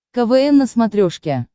квн на смотрешке